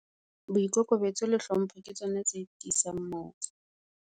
Boikokobetso le hlompho ke tsona tse tiisang .